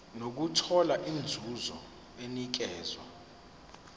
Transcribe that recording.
nokuthola inzuzo enikezwa